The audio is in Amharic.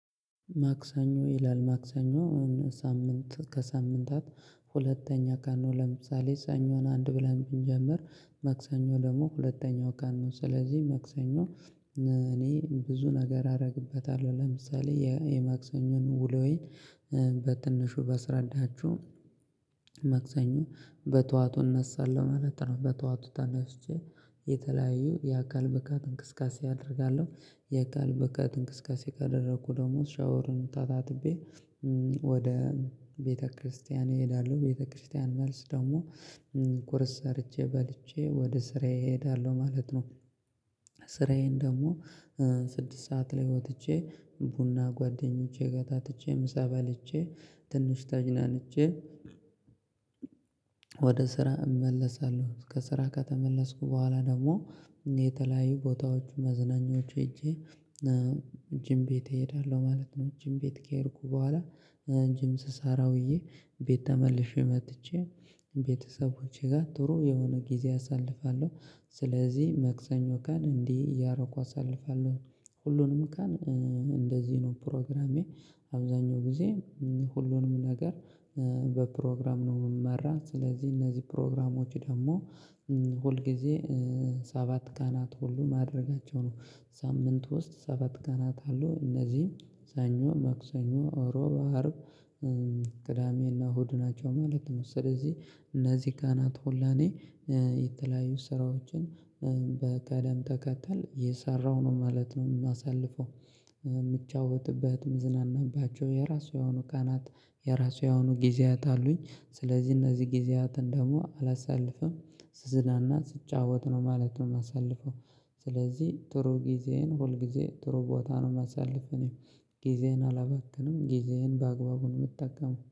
ማክሰኞ ይላል ማክሰኞ ሳምንት ከሳምንታት ሁለተኛ ቀን ነው። ለምሳሌ ሰኞን አንድ ብለን ብንጀምር መክሰኞ ደግሞ ሁለተኛው ቀን ነው። ስለዚህ ማክሰኞ እኔ ብዙ ነገር አደርግበታለሁ ለምሳሌ የማክሰኞን ውሎዬን በትንሹ ባስረዳችሁ ማክሰኞ በጠዋቱ እነሳለሁ ማለት ነው። በጠዋቱ ተነስቼ የተለያዩ የአካል ብቃት እንቅስቃሴ አደርጋለሁ የአካል ብቃት እንቅስቃሴ ካደረኩ ደግሞ ሻወርን ተታጥቤ ወደ ቤተክርስቲያን እሄዳለሁ። ቤተክርስቲያን መልስ ደግሞ ቁርስ ሰርቼ በልቼ ወደ ስራዬ እሄዳለሁ ማለት ነው። ስራዬን ደግሞ ስድስት ሰዓት ላይ ወጥቼ ቡና ጓደኞቼ ጋር ጠጥቼ ምሳ በልቼ ትንሽ ተዝናንች ወደ ስራ እመለሳለሁ። ከስራ ከተመለስኩ በኋላ ደግሞ የተለያዩ ቦታዎች መዝናኞች ሄጄ ጂም ቤት እሄዳለሁ ማለት ነው። ጂም ቤት ከሄድኩ በኋላ ጅም ስሳራ ውዬ ቤት ተመልሼ መጥቼ ቤተሰቦቼ ጋር ጥሩ የሆነ ጊዜ አሳልፋለሁ። ስለዚህ ማክሰኞ ካን እንዲህ ያረኩ አሳልፋለሁ ሁሉንም ቀን እንደዚህ ነው። ፕሮግራሜ አብዛኛው ጊዜ ሁሉንም ነገር በፕሮግራም ነው የምመራ። ስለዚህ እነዚህ ፕሮግራሞች ደግሞ ሁል ጊዜ ሰባት ቀናት ሁሉ ማደርጋቸው ነው። ሳምንት ውስጥ ሰባት ቀናት አለው እነዚህም ሰኞ ማኩሰኞ ረብዑ አርብ ቅዳሜና እሁድ ናቸው ማለት ነው። ስለዚህ እነዚህ ቀናት ሆላኔ የተለያዩ ስራዎችን በቀደም ተከተል እየሰራው ነው ማለት ነው። የማሳልፈው የምትጫወትበት ምዝናናባቸው የራሷ የሆኑ ቀናት የራሱ የሆኑ ጊዜያት አሉኝ ስለዚህ እነዚህ ጊዜያትን ደግሞ አላሳልፍም ስዝናና ስጫወት ነው ማለት ነው የማሳልፈው። ስለዚህ ጥሩ ጊዜህን ሁል ጊዜ ጥሩ ቦታ ነው የማሳልፍ እኔም ጊዜህን አላባካንም ጊዜዬን በአግባቡ ነው የጠቀመው